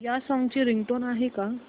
या सॉन्ग ची रिंगटोन आहे का